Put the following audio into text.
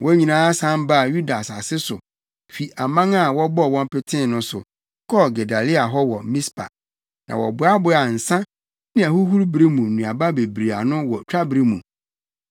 wɔn nyinaa san baa Yuda asase so fi aman a wɔbɔɔ wɔn petee no so, kɔɔ Gedalia hɔ wɔ Mispa. Na wɔboaboaa nsa ne ahohuru bere mu nnuaba bebree ano wɔ twabere mu.